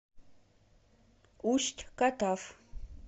усть катав